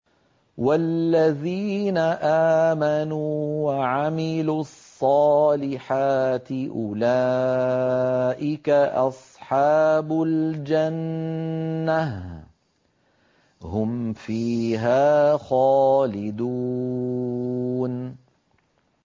وَالَّذِينَ آمَنُوا وَعَمِلُوا الصَّالِحَاتِ أُولَٰئِكَ أَصْحَابُ الْجَنَّةِ ۖ هُمْ فِيهَا خَالِدُونَ